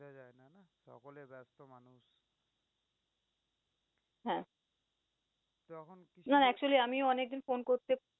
হ্যাঁ, না না actually আমিও অনেকদিন phone করতে